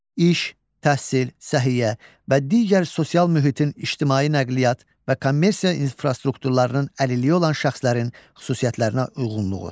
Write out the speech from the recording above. İş, təhsil, səhiyyə və digər sosial mühitin, ictimai nəqliyyat və kommersiya infrastrukturunun əlilliyi olan şəxslərin xüsusiyyətlərinə uyğunluğu.